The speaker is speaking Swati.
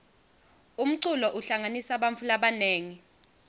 umculo uhlanganisa bantfu labanengi